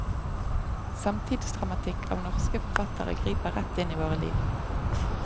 Samtidsdramatikk av norske forfattere griper rett inn i våre liv.